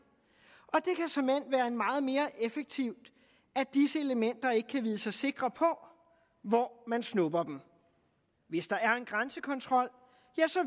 og meget mere effektivt at disse elementer ikke kan vide sig sikre på hvor man snupper dem hvis der er en grænsekontrol